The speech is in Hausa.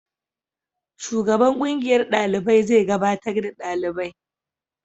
Shugaban kungiyar dalibai zai gabatar da dalibai.